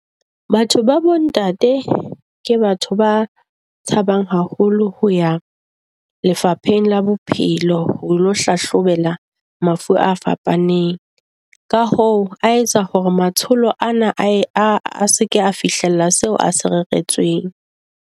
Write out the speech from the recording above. Batho ba bontate ke batho ba tshabang haholo ho ya Lefapheng la Bophelo, ho ilo hlahlobela mafu a fapaneng. Ka hoo a etsa hore matsholo ana a se ke a fihlela seo a se reretsweng.